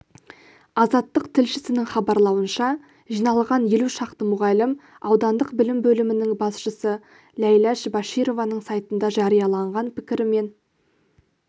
азаттық тілшісінің хабарлауынша жиналған елу шақты мұғалім аудандық білім бөлімінің басшысы ләйләш башированың сайтында жарияланған пікірімен